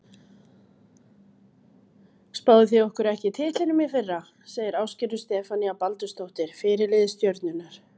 Spáðuð þið ekki okkur titlinum í fyrra? segir Ásgerður Stefanía Baldursdóttir, fyrirliði Stjörnunnar.